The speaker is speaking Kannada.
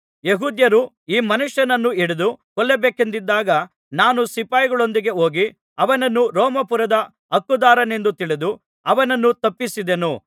ಯೆಹೂದ್ಯರು ಈ ಮನುಷ್ಯನನ್ನು ಹಿಡಿದು ಕೊಲ್ಲಬೇಕೆಂದಿದ್ದಾಗ ನಾನು ಸಿಪಾಯಿಗಳೊಂದಿಗೆ ಹೋಗಿ ಅವನನ್ನು ರೋಮಾಪುರದ ಹಕ್ಕುದಾರನೆಂದು ತಿಳಿದು ಅವನನ್ನು ತಪ್ಪಿಸಿದೆನು